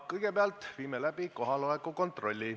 Kõigepealt viime läbi kohaloleku kontrolli.